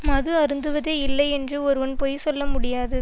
மது அருந்துவதே இல்லை என்று ஒருவன் பொய் சொல்ல முடியாது